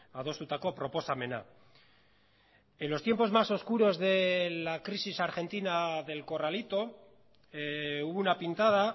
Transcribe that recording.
adostutako proposamena en los tiempos más oscuros de la crisis argentina del corralito hubo una pintada